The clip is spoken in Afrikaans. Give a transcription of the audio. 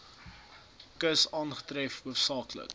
kus aangetref hoofsaaklik